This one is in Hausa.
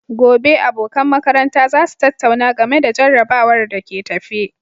Gobe, abokan makaranta za su tattauna game da jarrabawar da ke tafe.